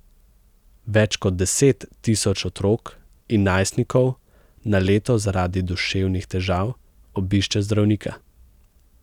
Več kot deset tisoč otrok in najstnikov na leto zaradi duševnih težav obišče zdravnika.